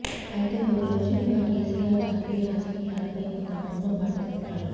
అయితే కొద్ది రోజులుగా కేసీఆర్ జాతీయ రాజకీయాల పై కొంత మౌనం పాటిస్తున్నారు